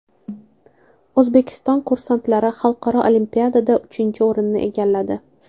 O‘zbekiston kursantlari xalqaro olimpiadada uchinchi o‘rinni egalladi.